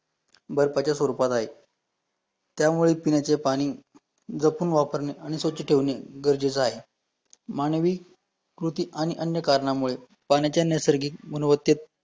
बर्फाच्या स्वरूपात आहे, त्यामुळे पिण्याचे पाणी जपून वापरणे आणि स्वछ ठेवणे गरजेचे आहे, मानवीकृती आणि अन्य कारणांमुळे पाण्याच्या नैसर्गिक गुणवत्तेत